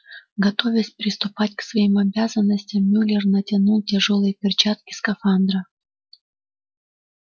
готовясь приступать к своим обязанностям мюллер натянул тяжёлые перчатки скафандра